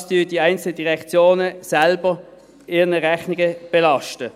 Das belasten die einzelnen Direktionen ihren Rechnungen selbst.